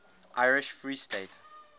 irish free state